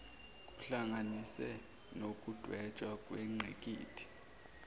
kuhlanganise nokudwetshwa kwengqikithi